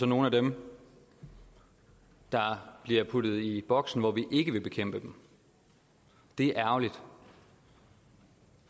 nogle af dem der bliver puttet i boks hvor vi ikke vil bekæmpe dem det er ærgerligt